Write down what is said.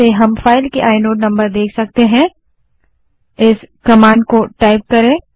हम फाइल के inode number देखने के लिए एलएस स्पेस i कमांड का उपयोग कर सकते हैं